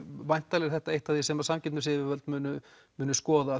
væntanlega er þetta eitt af því sem samkeppnisyfirvöld munu munu skoða